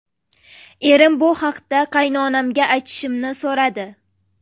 Erim bu haqda qaynonamga aytishimni so‘radi.